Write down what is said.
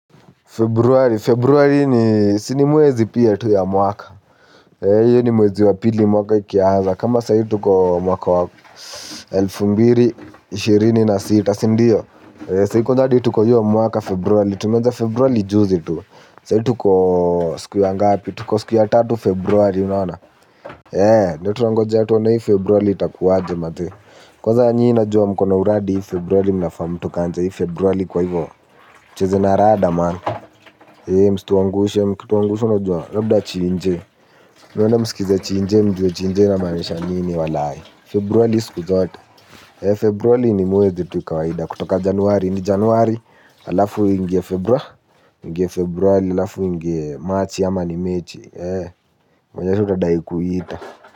Februari, februari ni si nimwezi pia tu ya mwaka. Iyo ni mwezi wa pili mwaka ikiaza. Kama sahii tuko mwaka wako elfu mbili na ishirini na sita. Sindio, sai kwanza hadi tuko hiyo mwaka februari. Tumeaza februari juzi tu. Sahii tuko siku ya ngapi. Tuko siku ya tatu februari, unaona Yeah, ndo tunangoja tuone hii februari itakuwaje mazee. Kwanza nyi najua mko na uradi hii februari mnafaa mtukanje. Hii februari kwa hivo cheza na rada man. Hei msituangushe mkituangusha unajua labda chiinje. Mwende mskize chiinje mjue chiinje inamaanisha nini walaye. Februari siku zote. Hee februari ni mwezi tu kawaida kutoka januari ni januari halafu iingie februari. Ingie februari halafu iingie machi ama ni mechi. Hei venye sasa utadai kuiita.